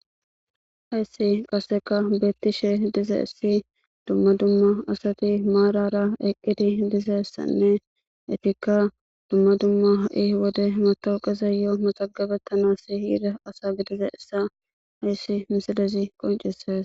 hayssi qaseka beettishe diza issi dumma dumma asati maarara eqqidi dizassanne efikka dumma dumma ha7i wode matowqiza yoo maxagabettanasi hiira asa gidiza issa hayssi misilezi qoncisaes